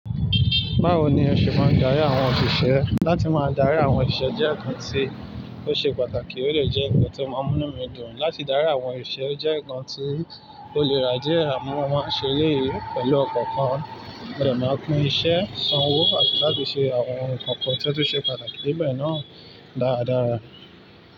Báwo ni ẹ ṣe máa ń darí àwọn òṣìṣẹ́? Láti máa darí àwọn òṣìṣẹ́ jẹ́ nǹkan tí ó ṣe pàtàkì, ó lè jẹ́ nǹkan tí ó máa mú nù mí dùn. Láti darí àwọn òṣìṣẹ́ jẹ́ nǹkan tí ó le rà díẹ̀ àmọ́, mo máa ń ṣe éléyì pẹ̀lú ọkàn kan. Mo de máa pín iṣẹ́, sanwó àti láti ṣe àwọn ohun nǹkan kan tí ó tun ṣe pàtàkì. Sibẹ̀ náà dáradára.